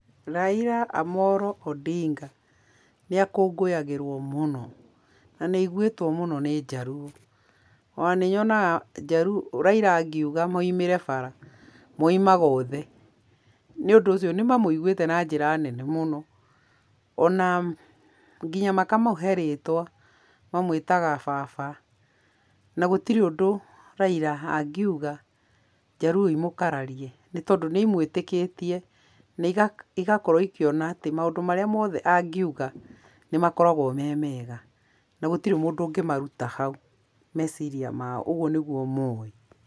Raila Amolo Odinga nĩ akũngũyagĩrwo mũno, na nĩ aigwĩtwo mũno nĩ njaruo. O na nĩ nyonaga njaruo Raila angiuga maumĩre bara, maumaga othe nĩũndũ ũcio nĩ mamũiguĩte na njĩra nene mũno o na nginya makamũhe rĩtwa mamwĩtaga baba, na gũtirĩ ũndũ Raila angiuga njaruo imũkararie tondũ nĩ imwĩtĩkĩtie na igakorwo ikĩona atĩ maũndũ marĩa mothe angĩuga nĩ makoragwo me mega na gũtirĩ mũndũ ũngĩmaruta hau meciria mao ũguo nĩguo moĩ.